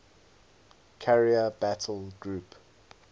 carrier battle group